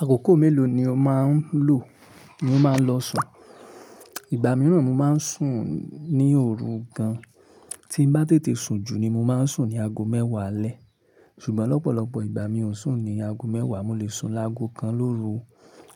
Àkókò mélòó ni o máa ń lò ní ó máa ń lọ sùn? Ìgbà mìíràn mo máa ń sùn ní òru gan, tí n bá tètè sùn jù ni mo máa ń sùn ní aago mẹ́wàá alẹ́. Ṣùgbọ́n lọ́pọ̀lọpọ̀ ìgbà mi ò ń sùn ní aago mẹ́wàá, mo lè sùn láago kan lóru